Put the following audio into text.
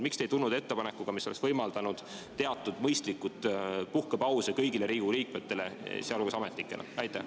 Miks te ei tulnud ettepanekuga, mis oleks võimaldanud teatud mõistlikke puhkepause kõigile Riigikogu liikmetele, samuti ametnikele?